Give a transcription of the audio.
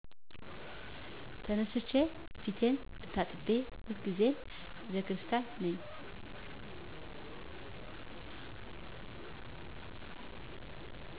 ተነስቸ ፊቴን ታጥቤ ሁል ጊዜም ቤተክርስቲያን ነኝ።